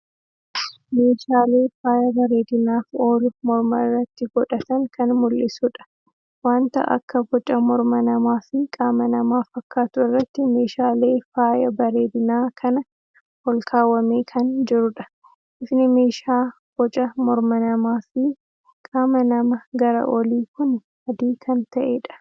Meeshaale faaya bareeddinaaf oolu morma irratti godhatan kan mul'isuudha. Wanta akka boca morma namaa fi qaama namaa fakkaatu irratti meeshaalee faaya bareeddinaa kana olkaawwamee kan jiruudha. Bifni meeshaa boca morma namaa fii qaama nama gara olii kuni adii kan ta'eedha.